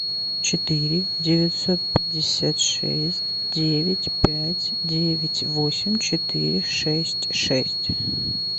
четыре девятьсот пятьдесят шесть девять пять девять восемь четыре шесть шесть